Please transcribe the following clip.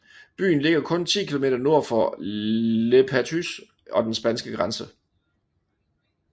Byen ligger kun 10 km nord for Le Perthus og den spanske grænse